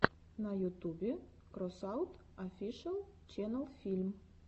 на ютубе кросаут офишэл ченел фильм